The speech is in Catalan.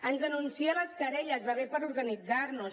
ens anuncia les querelles va bé per organitzar nos